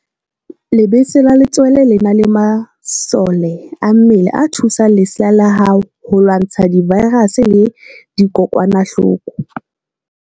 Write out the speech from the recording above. Lebese la letswele le na le masole a mmele a thusang lesea la hao ho lwantsha divaerase le dikokwanahloko.